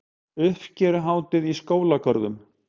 Uppskeruhátíð í skólagörðum